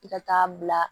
I ka taa bila